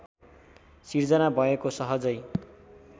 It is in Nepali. सिर्जना भएको सहजै